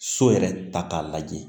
So yɛrɛ ta k'a lajɛ